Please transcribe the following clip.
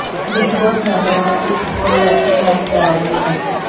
big Boss ਮੈਬਰਾਂ ਦਾ ਇੱਕ ਹੋਰ ਟੈਸਟ ਲੈਣ ਜਾ ਰਹੇ ਹਨ